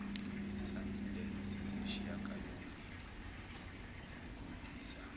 isandulelo sesishiyangalombili sikhombisa